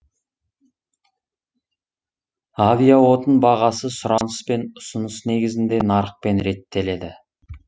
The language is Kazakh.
авиаотын бағасы сұраныс пен ұсыныс негізінде нарықпен реттеледі